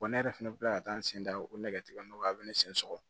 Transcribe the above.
ne yɛrɛ fɛnɛ bɛ kila ka taa n sen da o nɛgɛ tigɛ nɔgɔ a bɛ ne sen sɔgɔ